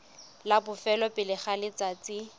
la bofelo pele ga letsatsi